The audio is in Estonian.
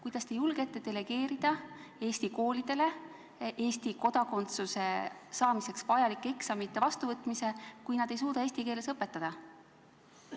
Kuidas te julgete delegeerida Eesti koolidele Eesti kodakondsuse saamiseks vajalike eksamite vastuvõtmise, kui nad ei suuda eesti keeles õpetada?